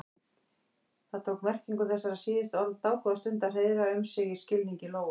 Það tók merkingu þessara síðustu orða dágóða stund að hreiðra um sig í skilningi Lóu.